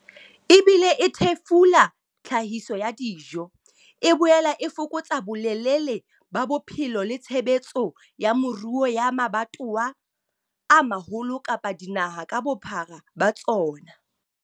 Ebile e thefula tlhahiso ya dijo, e boela e fokotsa bolelele ba bophelo le tshebetso ya moruo ya mabatowa a maholo kapa dinaha ka bophara ba tsona.